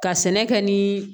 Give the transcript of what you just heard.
Ka sɛnɛ kɛ ni